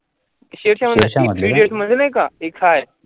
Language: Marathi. शेरशहामध्ये नाही three idiots मध्ये नाही का